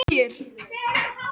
Daðey, spilaðu lagið „Hjá þér“.